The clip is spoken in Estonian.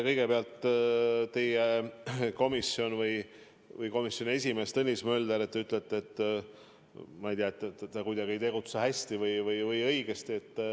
Kõigepealt, komisjoni esimees Tõnis Mölder – te ütlete, ma ei tea, et ta kuidagi ei tegutse hästi või õigesti.